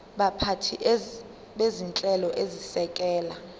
baphathi bezinhlelo ezisekela